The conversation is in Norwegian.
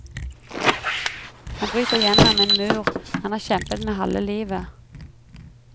Han bryter gjennom en mur han har kjempet med halve livet.